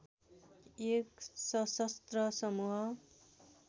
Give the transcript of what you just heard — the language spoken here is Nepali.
एक सशस्त्र समूह